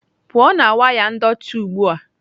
pụọ na waya ndọtị ugbu a!